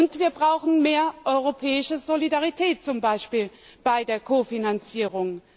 Und wir brauchen mehr europäische Solidarität, zum Beispiel bei der Konfinanzierung.